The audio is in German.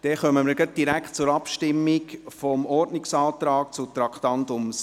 Dann kommen wir direkt zur Abstimmung über den Ordnungsantrag zum Traktandum 60.